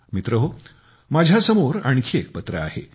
मित्रहो माझ्यासमोर आणखी एक पत्र आहे